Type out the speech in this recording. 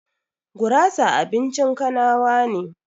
Gurasa abincin kanawa ne